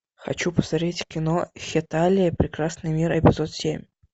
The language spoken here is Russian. хочу посмотреть кино хеталия прекрасный мир эпизод семь